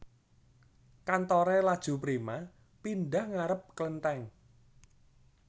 Kantore Laju Prima pindah ngarep klentheng